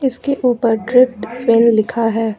इसके ऊपर drift swing लिखा है।